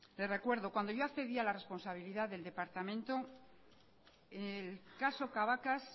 le recuerdo cuando yo accedí a la responsabilidad del departamento el caso cabacas